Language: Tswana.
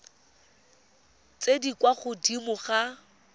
tse di kwa godimo ga